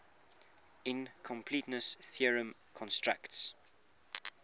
incompleteness theorem constructs